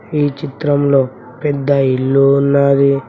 ఈ చిత్రంలో పెద్ద ఇల్లు ఉన్నాది.